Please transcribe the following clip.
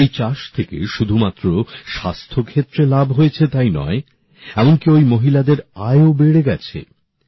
এই চাষ থেকে শুধুমাত্র স্বাস্থ্য ক্ষেত্রে লাভ হয়েছে তাই নয় এমনকি ওই মহিলাদের আয়ও বেড়ে গেছে